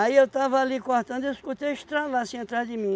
eu tava ali cortando, eu escutei estralar assim atrás de mim.